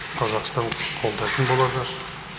қазақстан қолдайтын болады